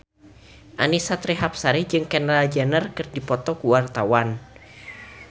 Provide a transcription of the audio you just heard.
Annisa Trihapsari jeung Kendall Jenner keur dipoto ku wartawan